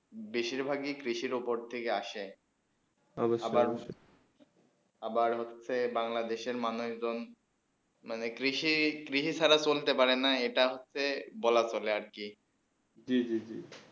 বেশি ভাগে ই কৃষি উপর থেকে আসে অৱশ্যে অৱশ্যে আবার হচ্ছেই বাংলাদেশে মানবনিদন মানে কৃষি কৃষি ছাড়া চলতে পারে না এইটা হচ্ছেই বলা তোলে আর কি জী জী জী